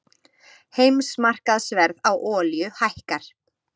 Heimsmarkaðsverð á olíu hækkar